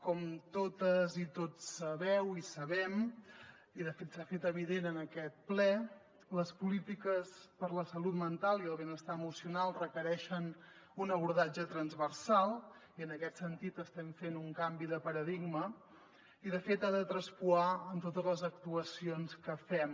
com totes i tots sabeu i sabem i de fet s’ha fet evident en aquest ple les polítiques per a la salut mental i el benestar emocional requereixen un abordatge transversal i en aquest sentit estem fent un canvi de paradigma i de fet ha de traspuar en totes les actuacions que fem